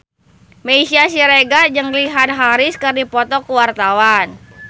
Meisya Siregar jeung Richard Harris keur dipoto ku wartawan